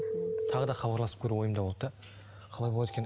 тағы да хабарласып көру ойымда болды да қалай болады екен